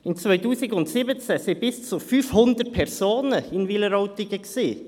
Im Jahr 2017 waren bis zu 500 Personen in Wileroltigen.